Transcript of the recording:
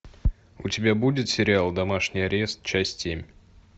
у тебя будет сериал домашний арест часть семь